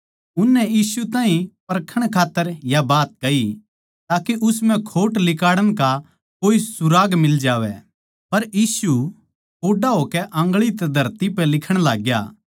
उननै यीशु ताहीं परखण खात्तर या बात कही ताके उस म्ह खोट लिकाड़ण का कोए सुराग मिलै जावै पर यीशु कोड्डा होकै आन्गळी तै धरती पै लिखण लाग्या